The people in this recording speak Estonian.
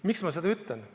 Miks ma seda ütlen?